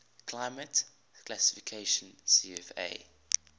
climate classification cfa